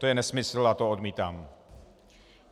To je nesmysl a to odmítám.